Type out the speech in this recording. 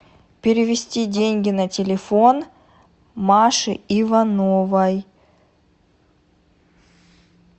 перевести деньги на телефон маше ивановой